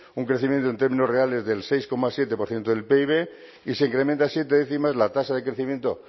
un crecimiento en términos reales del seis coma siete por ciento del pib y se incrementa siete décimas la tasa de crecimiento